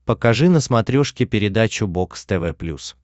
покажи на смотрешке передачу бокс тв плюс